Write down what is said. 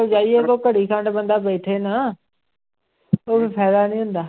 ਜਾਈਏ ਘੜੀ ਖੰਡ ਬੰਦਾ ਬੈਠੇ ਨਾ ਕੋਈ ਫ਼ਾਇਦਾ ਨੀ ਹੁੰਦਾ।